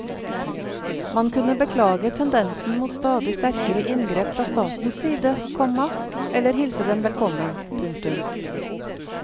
Man kunne beklage tendensen mot stadig sterkere inngrep fra statens side, komma eller hilse den velkommen. punktum